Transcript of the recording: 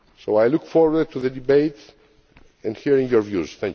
I look forward to the debate and to hearing your views.